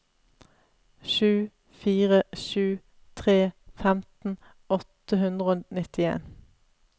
sju fire sju tre femten åtte hundre og nittien